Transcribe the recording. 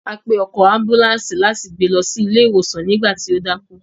A pe ọkọ̀ ambùlàńsì láti gbé lọ ilé ìwòsàn nígbà tí o dákú.